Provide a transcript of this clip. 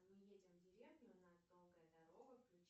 мы едем в деревню у нас долгая дорога включи